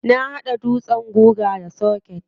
Na hada dutsen guga da soket.